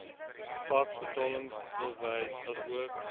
faks betalingsbewys asook